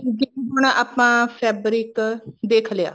ਜਿਵੇਂ ਹੁਣ ਆਪਾਂ fabric ਦੇਖ ਲਿਆ